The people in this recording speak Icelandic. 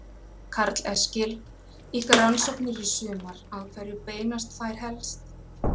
Karl Eskil: Ykkar rannsóknir í sumar, að hverju beinast þær helst?